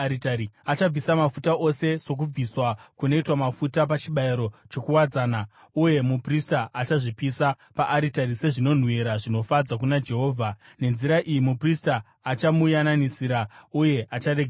Achabvisa mafuta ose sokubviswa kunoitwa mafuta pachibayiro chokuwadzana uye muprista achazvipisa paaritari sezvinonhuhwira zvinofadza kuna Jehovha. Nenzira iyi muprista achamuyananisira uye acharegererwa.